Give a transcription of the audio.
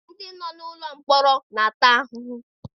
Ndị nọ n'ime ụlọ mkpọrọ na-ata ahụhụ.